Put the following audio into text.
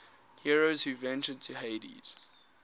heroes who ventured to hades